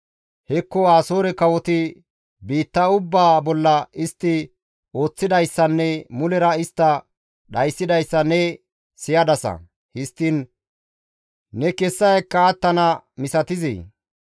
Hekko Asoore kawoti biitta ubbaa bolla istti ooththidayssanne mulera istta dhayssidayssa ne siyadasa. Histtiin ne kessa ekka attana misatizee?